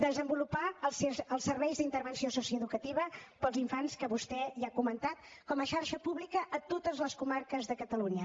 desenvolupar els serveis d’intervenció socioeducativa per als infants que vostè ja ha comentat com a xarxa pública a totes les comarques de catalunya